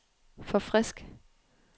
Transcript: forfrisk